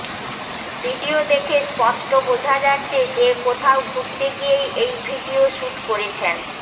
video দেখে স্পষ্ট বোঝা যাচ্ছে যে কোথাও ঘুরতে গিয়েই এই ভিডিও শুট করেছেন